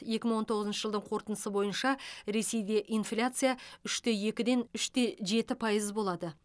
екі мың он тоғызыншы жылдың қорытындысы бойынша ресейде инфляция үште екіден үш те жеті пайыз болады